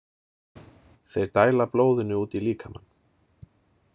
Þeir dæla blóðinu út í líkamann.